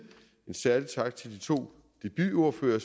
en særlig tak til de to debutordførere